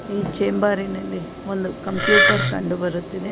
ಈ ಚೇಂಬರಿನಲ್ಲಿ ಒಂದು ಕಂಪ್ಯೂಟರ್ ಕಂಡು ಬರುತ್ತಿದೆ.